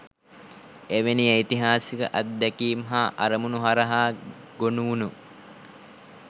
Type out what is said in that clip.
එවැනි ඓතිහාසික අත්දැකීම් හා අරමුණු හරහා ගොනුවුණ